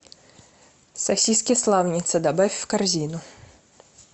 сосиски славница добавь в корзину